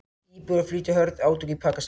Íbúar flýja hörð átök í Pakistan